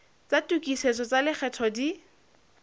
tsa tokisetso tsa lekgetho di